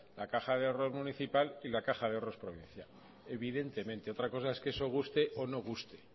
la caja de ahorros municipal y la caja de ahorros provincial evidentemente otra cosa es que eso guste o no guste